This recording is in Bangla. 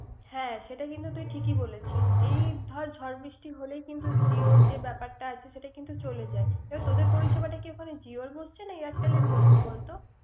হ্যা সেটা কিন্তু তুই ঠিক ই বলছিস। এই ধর ঝর বৃষ্টি হলেই কিন্ত জিও যে ব্যাপারটা আছে সেটা কিন্ত চলে যায়। এই তোদের পরিসেবাটা কি এখন জিও হচ্ছে না airtel হচ্ছে।